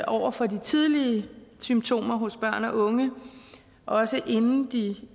over for de tidlige symptomer hos børn og unge også inden de